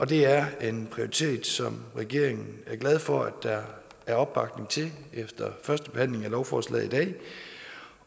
det er en prioritet som regeringen er glad for at der er opbakning til efter førstebehandlingen af lovforslaget i dag